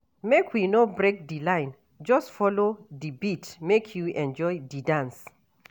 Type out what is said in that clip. Make we no break di line, just folo di beat make you enjoy di dance.